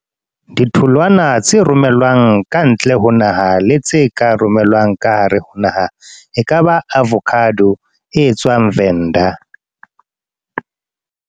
Ditholwana tse romelwang ka ntle ho naha, le tse ka romelwang ka hare ho naha. E kaba avocado, e etswang Venda.